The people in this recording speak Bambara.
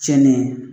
Tiɲɛni